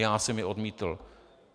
Já jsem je odmítl.